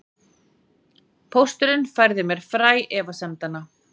Pósturinn færði mér fræ efasemdanna